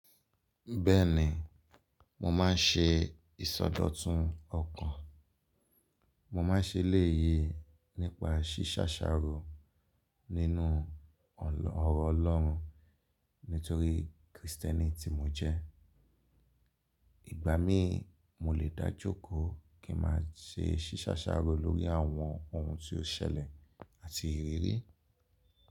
Bẹ́ẹ̀ni, mo máa ń ṣe ìsọdọ̀tun ọkàn. Mo máa ń ṣe eléyìí nípa ṣíṣàṣàrò nínú ọrọ Ọlọ́run nítorí Kìrìtẹ́nì tí mo jẹ́. Ìgbà mí mo lè dájókòó kí n máa ṣe ṣíṣàṣàrò lórí àwọn ohun tí ó ṣẹlẹ̀ àti ìrírí.